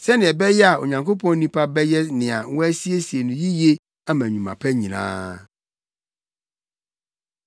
sɛnea ɛbɛyɛ a Onyankopɔn nipa bɛyɛ nea wɔasiesie no yiye ama nnwuma pa nyinaa.